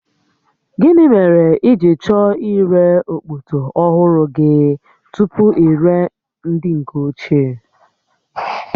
Gịnị mere i ji chọọ ire okpoto ọhụrụ gị tupu i ree nke nke ochie?